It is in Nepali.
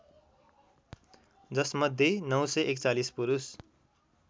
जसमध्ये ९४१ पुरुष